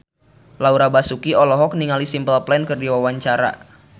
Laura Basuki olohok ningali Simple Plan keur diwawancara